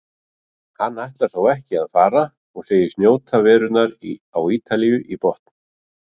Hann ætlar þó ekki að fara og segist njóta verunnar á Ítalíu í botn.